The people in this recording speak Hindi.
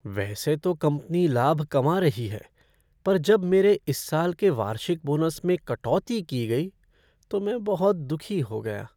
वैसे तो कंपनी लाभ कमा रही है, पर जब मेरे इस साल के वार्षिक बोनस में कटौती की गई तो मैं बहुत दुखी हो गया।